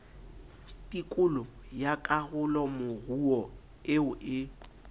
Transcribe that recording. tikolo ya karolomoruo eo e